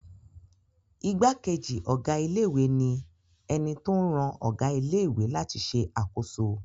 Ìgbákejì ọ̀gá ilé-ìwé ni ẹni tó ń ran ọ̀gá ilé-ìwé láti ṣe àkóso.